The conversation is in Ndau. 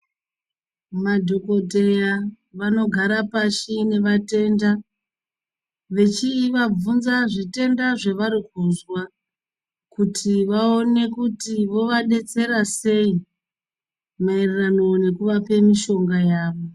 Madhokodheya vanogara pasi nevatenda vechivabvunza zvitenda zvavari kuzwa kuti vaone kuti vovadetsera sei maererano nekuvape mishonga yavo.